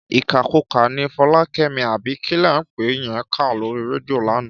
Ìkàkukà ni Fọlákẹ́mi àbí kí lẹ̀ ń pè é yẹn ń kà lórí rédíò lánàá.